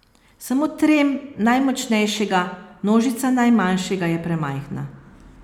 Samo trem najmočnejšega, nožica najmanjšega je premajhna.